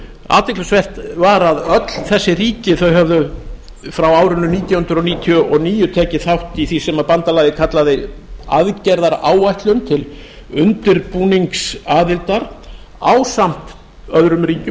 athyglisvert var að öll þessi ríki höfðu frá árinu nítján hundruð níutíu og níu tekið þátt í því sem bandalagið kallaði aðgerðaráætlun til undirbúningsaðildar ásamt öðrum ríkjum